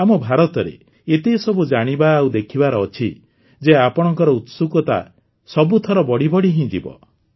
ଆମ ଭାରତରେ ଏତେ ସବୁ ଜାଣିବା ଆଉ ଦେଖିବାର ଅଛି ଯେ ଆପଣଙ୍କର ଉତ୍ସୁକତା ସବୁଥର ବଢ଼ିବଢ଼ି ହିଁ ଯିବ